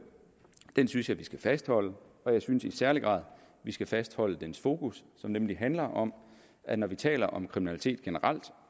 synes jeg vi skal fastholde og jeg synes i særlig grad vi skal fastholde dens fokus som nemlig handler om at når vi taler om kriminalitet generelt